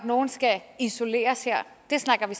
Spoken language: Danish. nogen skal isoleres her det snakker vi